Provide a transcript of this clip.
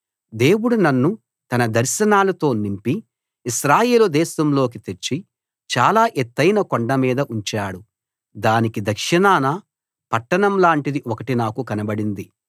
దేవుడు నన్ను తన దర్శనాలతో నింపి ఇశ్రాయేలు దేశంలోకి తెచ్చి చాలా ఎత్తయిన కొండ మీద ఉంచాడు దానికి దక్షిణాన పట్టణం లాంటిది ఒకటి నాకు కనబడింది